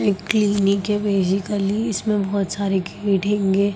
एक क्लिनिक हैं बसीकली इसमें बहुत सारे गेट हैंगे।